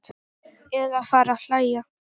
Eða fara að hlæja.